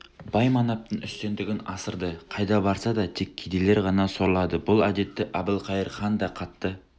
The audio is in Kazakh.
бай-манаптың үстемдігін асырды қайда барса да тек кедейлер ғана сорлады бұл әдетті әбілқайыр хан да қатты